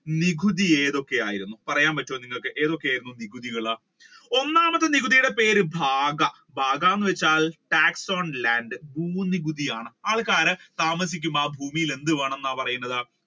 നികുതി ഏതൊക്കെയായിരിക്കുന്നു? പറയാൻ പറ്റുവോ നിങ്ങൾക്ക് എന്തൊക്കെ ആയിരുന്നു നികുതികൾ ഒന്നാമത്തെ നികുതിയുടെ പേര് ഭാഗ ഭാഗ എന്ന് വെച്ചാൽ tax on land ഭൂ-നികുതിയാണ് ആൾക്കാരൻ താമസിക്കുമ്പോൾ ആ ഭൂമിയിൽ എന്തുവേണമെന്നാണ് പറയുന്നത്